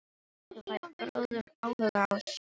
Þú færð bráðum áhuga á sög- unni.